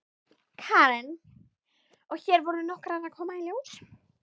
Karen: Og hér voru nokkrar að koma í ljós?